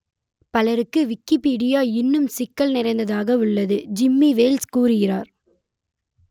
பலருக்கு விக்கிப்பீடியா இன்னும் சிக்கல் நிறைந்ததாக உள்ளது ஜிம்மி வேல்ஸ் கூறுகிறார்